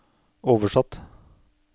oversatt